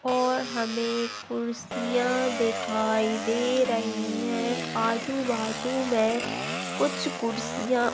पर हमें फॅमिली ही दे रहा है। किस मैं सामने हमें एक टीवी देखाई। और हमने देखा है तू तू मैं कुछ कोर्स किया।